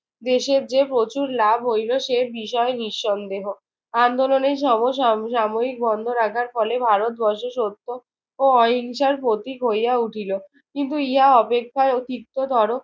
দেশের যে প্রচুর লাভ হইল সে বিষয় নিঃসন্দেহ। আন্দোলনের সম সাম সাময়িক বন্ধ রাখার ফলে ভারতবর্ষে সত্য ও অহিংসার প্রতীক হইয়া উঠিল। কিন্তু ইহা অপেক্ষাও তিক্ততর